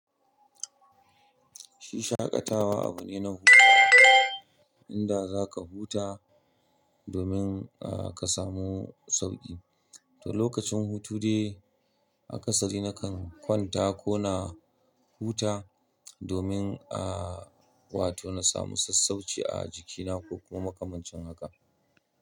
Shi shaƙatawa abu ne na hutawa, inda za ka huta domin a ka samu sauƙi. To lokacin hutu dai akasari na kan kwanta ko na huta domin a wato na samu sassauci a jikina ko kuma makamancin haka.